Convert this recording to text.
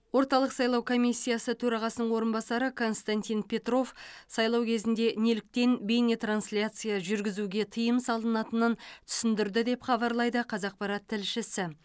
орталық сайлау комиссиясы төрағасының орынбасары константин петров сайлау кезінде неліктен бейнетрансляция жүргізуге тыйым салынатынын түсіндірді деп хабарлайды қазақпарат тілшісі